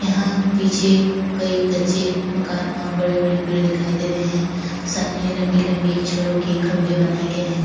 यहाँ पीछे कई कच्चे मकान और बड़े-बड़े पेड़ दिखाई दे रहे है। सामने लम्बी लम्बी छड़ो के खम्भे बनाये गए है।